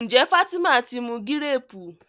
njé Fatima tí mú Gírèèpù?